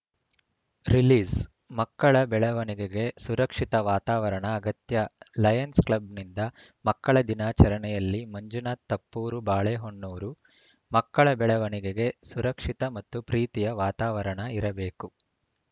ರಿಲೀಸ್‌ಮಕ್ಕಳ ಬೆಳವಣಿಗೆಗೆ ಸುರಕ್ಷಿತ ವಾತಾವರಣ ಅಗತ್ಯ ಲಯನ್ಸ್‌ ಕ್ಲಬ್‌ನಿಂದ ಮಕ್ಕಳ ದಿನಾಚರಣೆಯಲ್ಲಿ ಮಂಜುನಾಥ್‌ ತಪ್ಪೂರು ಬಾಳೆಹೊನ್ನೂರು ಮಕ್ಕಳ ಬೆಳವಣಿಗೆಗೆ ಸುರಕ್ಷಿತ ಮತ್ತು ಪ್ರೀತಿಯ ವಾತಾವರಣ ಇರಬೇಕು